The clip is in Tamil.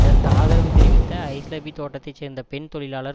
அதற்கு ஆதரவு தெரிவித்த ஐஸ்லபி தோட்டத்தை சேர்ந்த பெண் தொழிலாளர்